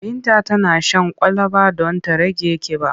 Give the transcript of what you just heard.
Binta tana shan kwalaba don ta rage ƙiba.